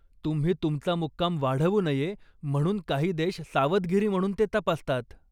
तुम्ही तुमचा मुक्काम वाढवू नये म्हणून काही देश सावधगिरी म्हणून ते तपासतात.